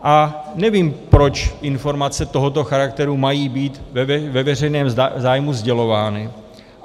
A nevím, proč informace tohoto charakteru mají být ve veřejném zájmu sdělovány.